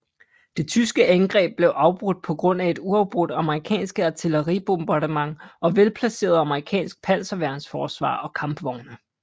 Det tyske angreb blev afbrudt på grund af et uafbrudt amerikanske artilleribombardement og velplaceret amerikansk panserværnsforsvar og kampvogne